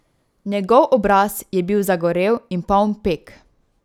Njegov obraz je bil zagorel in poln peg.